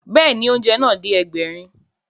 Bẹ́ẹ̀ni, oúnjẹ náà dé Ẹgbẹ̀rin